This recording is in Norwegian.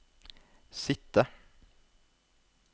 sitte